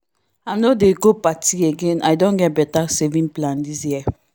i no dey go party again i don get better saving plan this year